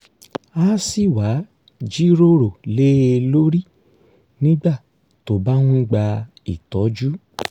á sì wá jíròrò lé e lórí nígbà tó bá ń gba ìtọ́jú